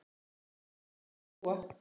Að því þarf að hlúa.